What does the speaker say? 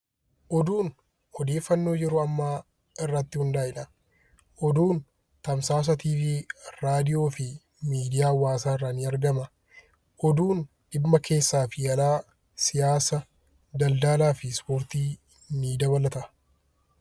Oduun odeeffannoo yeroo yeroo ammaa irratti hundaayedha. Oduun tamsaasa televezyiinii irraa , raadiyoo fi miidiyaa hawaasaa irraa ni argama. Oduun dhimma keessaa fi alaa siyaasa, daldalaa fi ispoortii ni dabalata.